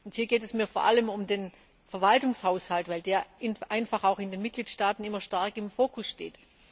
Und hier geht es mir vor allem um den Verwaltungshaushalt, weil der einfach auch in den Mitgliedstaaten immer stark im Focus steht.